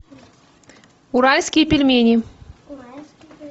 уральские пельмени